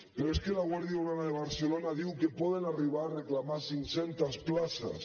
però és que la guàrdia urbana de barcelona diu que poden arribar a reclamar cinc centes places